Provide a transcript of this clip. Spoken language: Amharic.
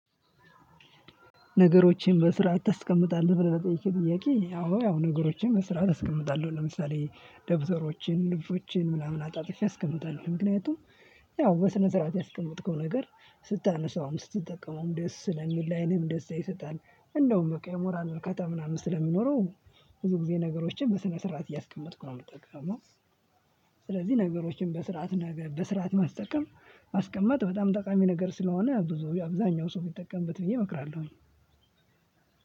ነገሮቼን በስርዓት ታስቀምጣለህ ብለህ ለጠየከኝ ጥያቄ አዎ ያው ነገሮቼን በስራ አስቀምጣለሁ ለምሳሌ ደብተሮቼን ልብሶቼን ምናምን አጣጥፌ አስቀምጣለሁ ምክንያቱም ያው በስነ ስርዓት ያስቀመጥከው ነገር ስታነሳውም ስትጠቀመውም ደስ ለሚል ለአይንም ደስታ ይሰጣል። እንደውም በቃ የሞራል እርካታ ምናምን ስለሚኖረው። ብዙ ጊዜ ነገሮችን በስነ ስርዓት እያስቀመጥኩ ነው ምትጠቀመው። ስለዚህ ነገሮችን በስርዓት ነገር በስርዓት ማስጠቀም ማስቀመጥ በጣም ጠቃሚ ነገር ስለሆነ ብዙ ጊዜ አብዛኛው ሰው ቢጠቀምበት ብዬ እመክራለሁኝ።